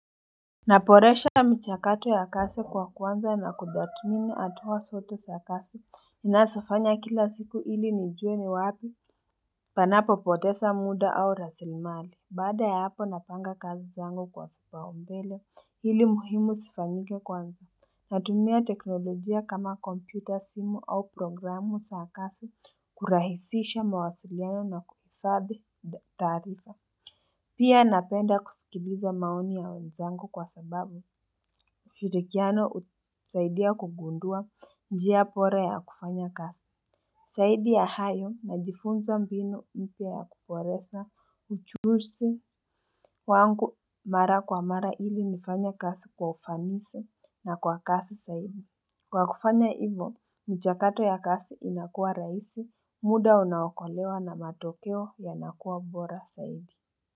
Naboresha michakato ya kazi kwa kuanza na kudatumini hatuwa zote za kazi ninazo fanya kila siku ili nijue ni wapi panapo poteza muda au rasilmali baada ya hapo napanga kazi zangu kwa kipaumbele ili muhimu zifanyike kwanza natumia teknolojia kama kompyuta, simu au programu za kazi kurahisisha mawasiliano na kuhifadhi taarifa Pia napenda kusikiliza maoni ya wenzangu kwa sababu ushirikiano husaidia kugundua njia bora ya kufanya kazi Zaidi ya hayo najifunza mbinu mpya ya kuboresha uchuzi wangu mara kwa mara ili nifanya kazi kwa ufanisi na kwa kasi zaidi Kwa kufanya hivo, michakato ya kazi inakuwa rahisi, muda unakolewa na matokeyo yanakuwa bora zaidi.